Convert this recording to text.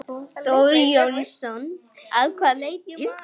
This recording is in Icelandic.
Þór Jónsson: Að hvaða leyti?